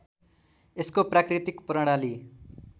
यसको प्राकृतिक प्रणाली